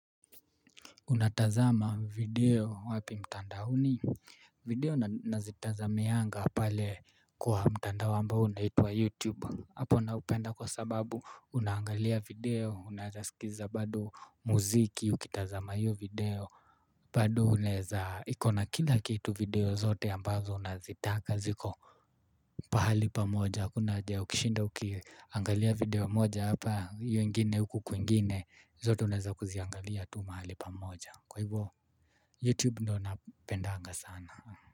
Unatazama video wapi mtandaoni, video nazitazamianga pale kwa mtandao ambao unaitwa YouTube, hapo naupenda kwa sababu unaangalia video, unaezaskiza bado muziki, ukitazama hiyo video, bado unaeza, ikona kila kitu video zote ambazo unazitaka ziko pahali pamoja, hakuna haja ya kishinda ukiangalia video moja hapa, hiyo ingine huku kwingine, zote unaeza kuziangalia tu mahali pamoja. Kwa ivo Youtube ndo napendanga sana.